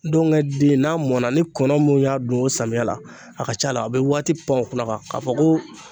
Dɔngɛ den n'a mɔnna ni kɔnɔ min y'a dun o samiya la a ka c'a la a be waati pan o kunna kuwa k'a fɔ ko